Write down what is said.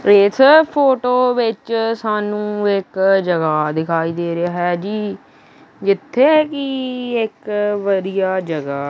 ਇਸ ਫ਼ੋਟੋ ਵਿੱਚ ਸਾਨੂੰ ਇੱਕ ਜਗ੍ਹਾ ਦਿਖਾਈ ਦੇ ਰਿਹਾ ਹੈ ਜੀ ਜਿੱਥੇ ਕੀ ਇੱਕ ਵਧੀਆ ਜਗ੍ਹਾ --